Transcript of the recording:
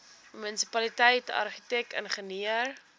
munisipaliteit argitek ingenieur